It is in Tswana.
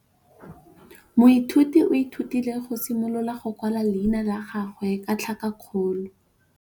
Moithuti o ithutile go simolola go kwala leina la gagwe ka tlhakakgolo.